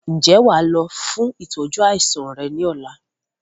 Ǹjẹ́ wàá lọ fún ìtọ́jú àìsàn rẹ ni ọ̀la?